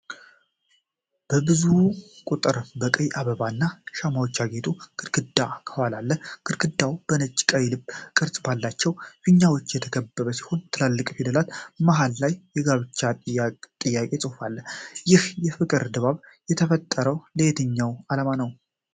በብዙ ቁጥር በቀይ አበባ እና ሻማዎች ያጌጠ ግድግዳ ከኋላ አለ። ግድግዳው በነጭና ቀይ ልብ ቅርጽ ባላቸው ፊኛዎች የተከበበ ሲሆን፣ ትላልቅ ፊደላት መሃል ላይ የጋብቻ ጥያቄ ጽሑፍ አለ። ይህ የፍቅር ድባብ የተፈጠረው ለየትኛው ዓላማ ነው?